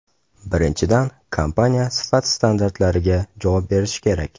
Birinchidan, kompaniya sifat standartlariga javob berishi kerak.